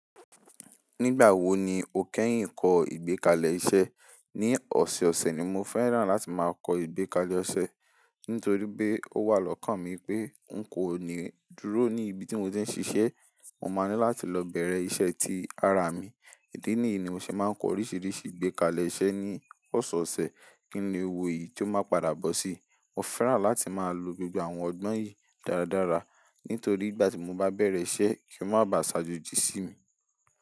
Nígbà wo ni o kẹ́yìn kọ́ ìgbékalẹ̀ iṣẹ́? Ní ọ̀sẹ̀ẹ̀ ọ̀sẹ̀ ni mo fẹ́ràn láti máa kọ ìgbékalẹ̀ ọṣẹ nítorí pé ó wà lọ́kàn mi pé n kò ní dúró ní ibi tí mo ti ń ṣiṣẹ́. Mo máa ní láti lọ bẹ̀rẹ̀ iṣẹ́ ti ara mi. Idi níyi ni mo ṣe máa ń kọ oríṣiríṣi ìgbékalẹ̀ iṣẹ́ ní ọ̀sẹ̀ẹ̀ ọ̀sẹ̀. Kín le wo eyìí ti ó máa padà bọ́ sí i Mo fẹ́ràn láti máa lo gbogbo àwọn ọgbọ́n yìí dáradára nítorí ìgbà tí mo bá bẹ̀rẹ̀ isẹ́, kí ó má bá ṣàjòjì sí mi.